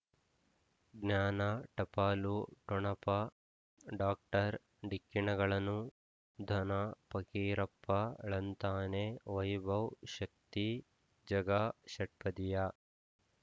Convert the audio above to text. ಜ್ಞಾನ ಟಪಾಲು ಠೊಣಪ ಡಾಕ್ಟರ್ ಢಿಕ್ಕಿ ಣಗಳನು ಧನ ಫಕೀರಪ್ಪ ಳಂತಾನೆ ವೈಭವ್ ಶಕ್ತಿ ಝಗಾ ಷಟ್ಪದಿಯ